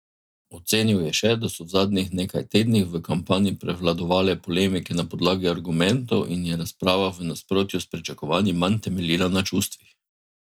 Ocenil je še, da so v zadnjih nekaj tednih v kampanji prevladovale polemike na podlagi argumentov in je razprava v nasprotju s pričakovanji manj temeljila na čustvih.